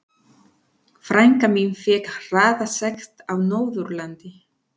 Frænka mín fékk hraðasekt á Norðurlandi.